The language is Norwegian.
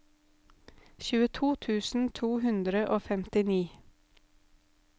tjueto tusen to hundre og femtini